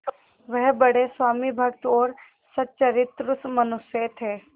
वह बड़े स्वामिभक्त और सच्चरित्र मनुष्य थे